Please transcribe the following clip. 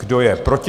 Kdo je proti?